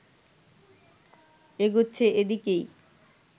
এগোচ্ছে এদিকেই